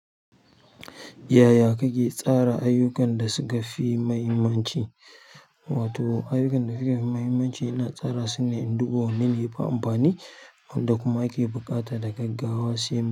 Yaya kake tsara ayyukan da suka fi mahimmanci? Wato ayyukan da suka fi mahimmanci ina tsara su ne in duba wanne ne ya fi amfani, wanda kuma ake buƙata da gaggawa sai.